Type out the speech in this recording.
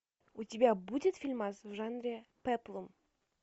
у тебя будет фильмас в жанре пеплум